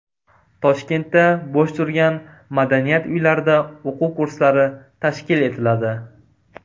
Toshkentda bo‘sh turgan madaniyat uylarida o‘quv kurslari tashkil etiladi.